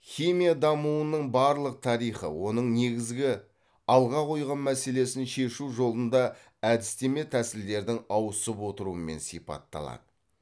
химия дамуының барлық тарихы оның негізгі алға қойған мәселесін шешу жолында әдістеме тәсілдердің ауысып отыруымен сипатталады